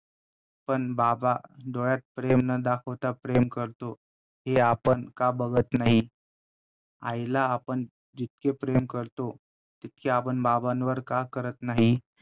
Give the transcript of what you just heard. पण बाबा डोळ्यात प्रेम न दाखवता प्रेम करतो, हे आपण का बघत नाही आईला आपण जितके प्रेम करतो तितके आपण बाबांवर का करत नाही.